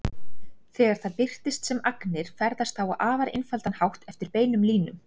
Þegar það birtist sem agnir ferðast það á afar einfaldan hátt eftir beinum línum.